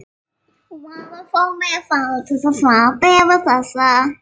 Varaformanni var falið að svara bréfi þessu.